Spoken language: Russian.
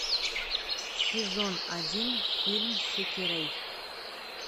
сезон один фильм сэкирэй